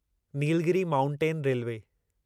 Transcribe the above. Nilgiri mountain railway